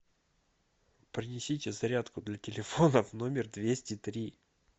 принесите зарядку для телефона в номер двести три